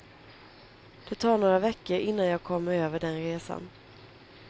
Det tar några veckor innan jag kommer över den resan.